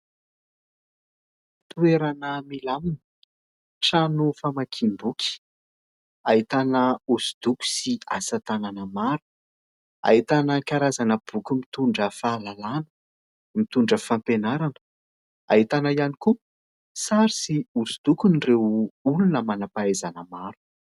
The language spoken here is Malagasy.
Toerana milamina trano famakiam-boky ahitana hosodoko sy asa tanana maro ahitana karazana boky mitondra fahalalana, mitondra fampianarana, ahitana ihany koa sary sy hosodokon'ireo olona manampahaizana maro.